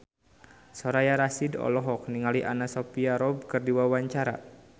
Soraya Rasyid olohok ningali Anna Sophia Robb keur diwawancara